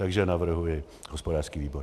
Takže navrhuji hospodářský výbor.